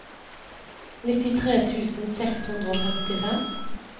nittitre tusen seks hundre og femtifem